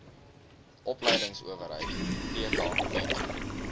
opleidingsowerheid theta bied